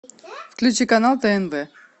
включи канал тнв